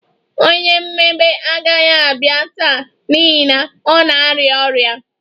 Onye mmebe agaghị abịa taa n'ihi na ọ na-arịa ọrịa